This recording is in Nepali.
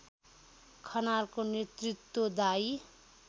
खनालको नेतृत्वदायी